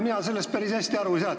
Mina sellest päris hästi aru ei saa.